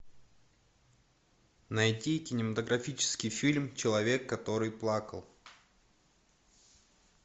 найти кинематографический фильм человек который плакал